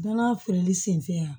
Danaya feereli senfɛ yan